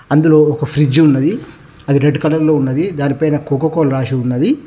అందులో ఒక ఫ్రిడ్జ్ ఉన్నది అది రెడ్ కలర్ లో ఉన్నది దానిపైన కోకో కోల రాసి ఉన్నది.